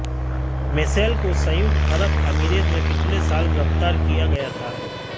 Michel को संयुक्त अरब अमीरात में पिछले साल गिरफ़्तार किया गया था